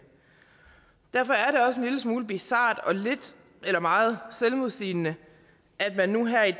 derfor er en smule bizart og lidt eller meget selvmodsigende at man nu her i